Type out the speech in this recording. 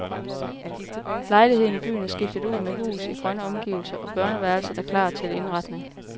Lejligheden i byen er skiftet ud med hus i grønne omgivelser og børneværelset er klar til indretning.